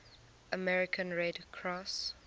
american red cross